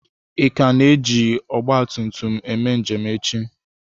Ị ka na-eji ọgba tum tum eme njem echi?